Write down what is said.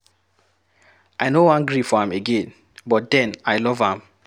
I no wan gree for am again but den I love am.